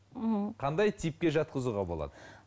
ммм қандай типке жатқызуға болады